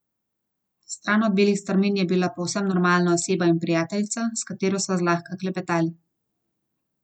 Stran od belih strmin je bila povsem normalna oseba in prijateljica, s katero sva zlahka klepetali.